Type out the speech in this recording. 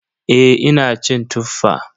Eh ina cin Tuffa.